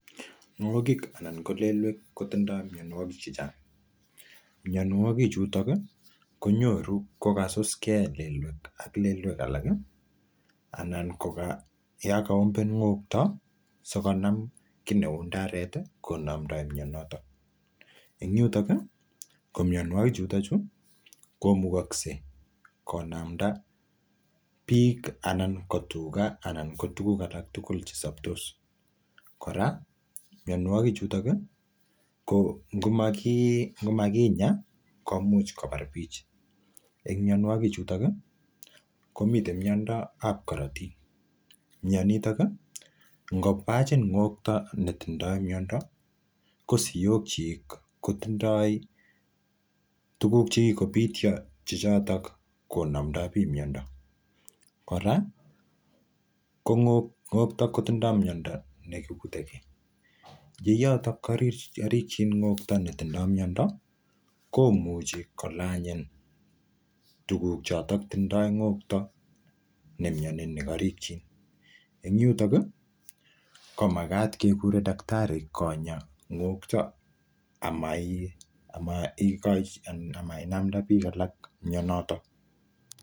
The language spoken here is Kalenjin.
ngokik anan ko lelwek kotindo mionwokik chechang mionwoki chuto ki konyoru kokasuske lelwek ak lelwek alaki ana koyon kaombe ngokto sikonam kit neu ndareti konamdoi mionotok en yutok ko mionwokichuto komuch konamda biik anan ko tuga anan kotuguk alan tugul chesobtos kora mionwoki chutoni ngomakinya komuch kobar biik en mionwokichuto komi miondab korotik mionitok ii ngobachin ngokto netindoi miondo kosiokyik kotindoi tuguk chekikobitio konamndo bii miondo kora kongokto kotindo miondo nekikutekee ye yoto korikchin ngokto netindo miondo komuchi kolanyin tuguk choton tindo ngokto nemioni nekorikchin en yuton komagat kekure dakitari konya ngokto amainamnda biik alak mionotok